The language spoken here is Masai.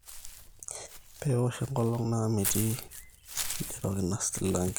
peewosh enkolong naa metii iderok ina silange